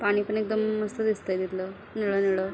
पाणी पण एकदम मस्त दिसतय तिथल निळ निळ.